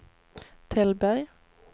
Tällberg